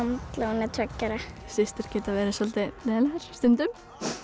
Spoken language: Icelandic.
hún er tveggja ára systur geta verið soldið leiðinlegar stundum